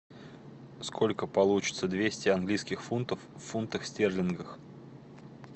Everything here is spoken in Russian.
сколько получится двести английских фунтов в фунтах стерлингах